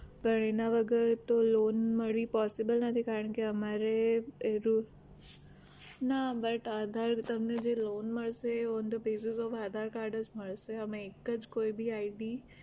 તો એના વગર તો loan મળવી possible નથી કારણ કે અમારે એ proof ના but આધાર તમને જે loan મળશે એ on the basis of aadhar card જ મળશે અમે એક જ કોઈ ભી ID